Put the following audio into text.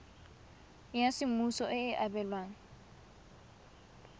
ya semmuso e e abelwang